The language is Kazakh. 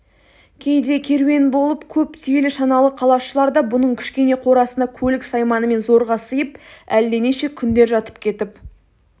кейде керуен болып көп түйелі шаналы қалашылар да бұның кішкене қорасына көлік-сайманымен зорға сыйып әлденеше күндер жатып кетіп